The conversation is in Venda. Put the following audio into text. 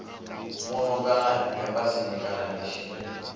muno kana embasini kana mishinini